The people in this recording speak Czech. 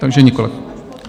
Takže nikoliv.